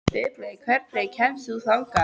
Ripley, hvernig kemst ég þangað?